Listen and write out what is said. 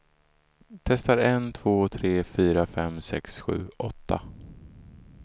Testar en två tre fyra fem sex sju åtta.